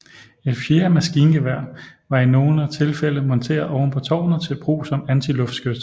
Et fjerde maskingevær var i nogle tilfælde monteret oven på tårnet til brug som antiluftskyts